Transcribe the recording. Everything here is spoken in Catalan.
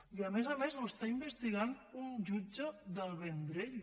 i a més a més ho està investigant un jutge del vendrell